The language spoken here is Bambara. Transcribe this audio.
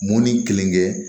Mun ni kelen kɛ